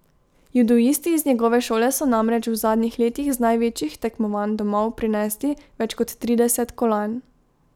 Judoisti iz njegove šole so namreč v zadnjih letih z največjih tekmovanj domov prinesli več kot trideset kolajn.